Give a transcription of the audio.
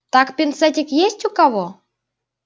так пинцетик есть у кого